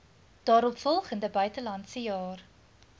daaropvolgende buitelandse jaar